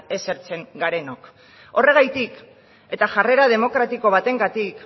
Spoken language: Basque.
esertzen garenok horregatik eta jarrera demokratiko batengatik